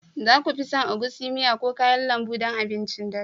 za ku fi son egusi miya ko kayan lambu don abincin dare